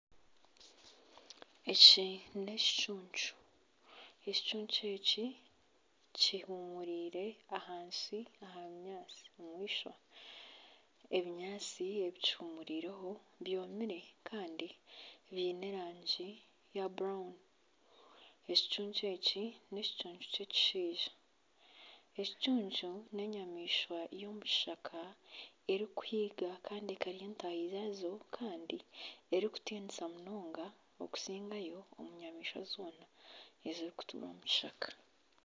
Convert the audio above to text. Eki n'ekicuncu, ekicuncu eki, kihumuriire ahansi omu ishwa, ebinyaatsi ebi kihumuurireho byomire kandi biine erangi ya burawuni ekicuncu eki n'ekicuncu ky'ekishaija, ekicuncu n'enyamaishwa y'omukishaka erikuhiga ekarya ntaahi zaayo kandi erikutiinisa munonga erikusigayo omu nyamaishwa zoona, ezirikutuura omu kishaka